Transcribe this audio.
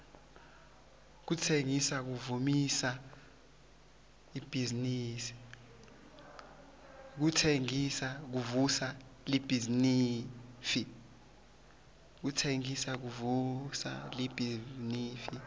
kutsengisa kuvusa libhizinifi